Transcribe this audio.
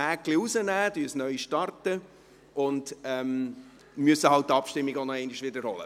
Wir entfernen das Häkchen jetzt, starten es neu und müssen halt die Abstimmung wiederholen.